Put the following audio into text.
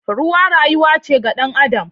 Ruwa rayuwa ce ga dan Adam.